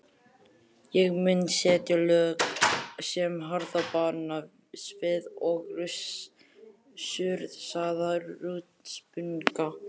Ég mun setja lög sem harðbanna svið og súrsaða hrútspunga.